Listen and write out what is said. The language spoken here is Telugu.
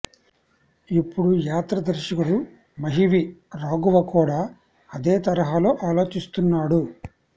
ఇప్పుడు యాత్ర దర్శకుడు మహి వి రాఘవ కూడా అదే తరహాలో ఆలోచిస్తున్నాడు